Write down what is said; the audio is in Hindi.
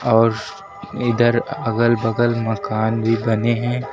और इधर अगल बगल मकान भी बने हैं।